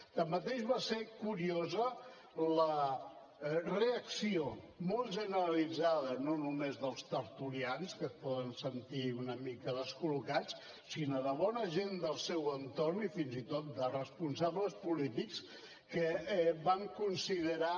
tanmateix va ser curiosa la reacció molt generalitzada no només dels tertulians que es poden sentir una mica descol·locats sinó de bona gent del seu entorn i fins i tot de responsables polítics que van considerar